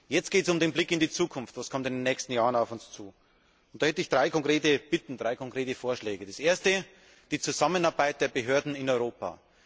Jetzt geht es um den Blick in die Zukunft. Was kommt in den nächsten Jahren auf uns zu? Hier hätte ich drei konkrete Bitten, drei konkrete Vorschläge. Der erste betrifft die Zusammenarbeit der Behörden in Europa.